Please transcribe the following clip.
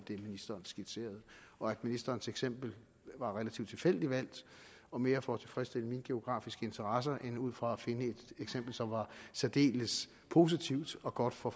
det ministeren skitserede og at ministerens eksempel var relativt tilfældigt valgt og mere for at tilfredsstille mine geografiske interesser end ud fra at finde et eksempel som var særdeles positivt og godt for